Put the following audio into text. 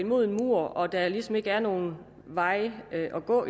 mod en mur og at der ligesom ikke er nogen veje at gå